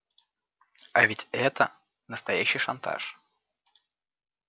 а ведь это настоящий шантаж